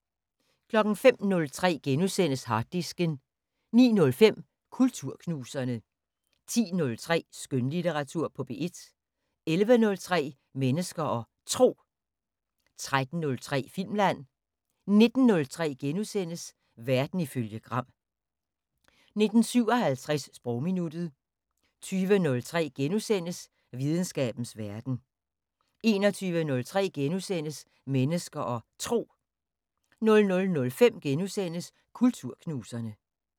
05:03: Harddisken * 09:05: Kulturknuserne 10:03: Skønlitteratur på P1 11:03: Mennesker og Tro 13:03: Filmland 19:03: Verden ifølge Gram * 19:57: Sprogminuttet 20:03: Videnskabens Verden * 21:03: Mennesker og Tro * 00:05: Kulturknuserne *